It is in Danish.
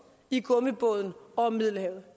i gummibåden over middelhavet